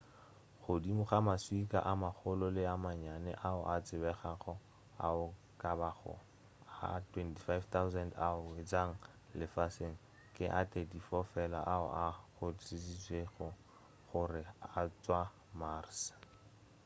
godimo ga maswika a magolo le a mannyane ao a tsebegago ao e ka bago a 24,000 ao a wetšego lefaseng ke a 34 fela ao a kgonthišišitšwego gore a tšwa mars